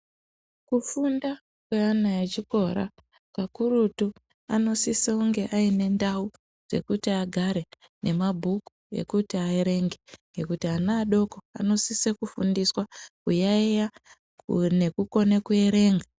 Kufunda kwana echikora kakurutu anosisa kunge ane ndau dzekuti agare nemabhuku ekuti vaerenge ngekuti ana adoko anosisa kufundiswa kuyaiya nekukona kuerenga.